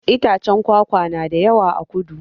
Itaccen kwakwa na da yawa a kudu